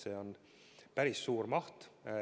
See on päris suur maht.